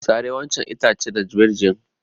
Sare wancan itace darbejiyar!